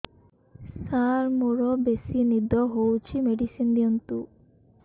ସାର ମୋରୋ ବେସି ନିଦ ହଉଚି ମେଡିସିନ ଦିଅନ୍ତୁ